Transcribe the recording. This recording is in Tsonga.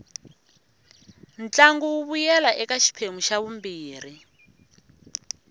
ntlangu wu vuyela ka xiphemu xa vumbirhi